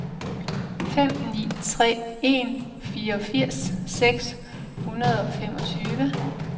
fem ni tre en fireogfirs seks hundrede og femogtyve